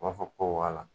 U b'a fɔ ko wara